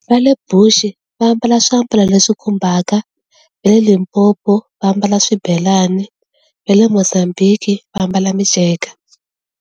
Va le Bush va ambala swiambalo le swi khumbaka, va le Limpopo va ambala swibelani, va le Mozambique va ambala miceka.